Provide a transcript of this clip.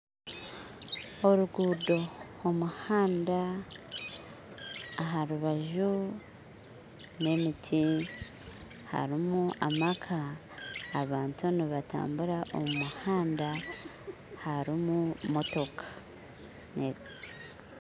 Oruguudo omuhanda aharubaju n'emiti harumu amaka abantu nibatambura omu muhanda harimu motoka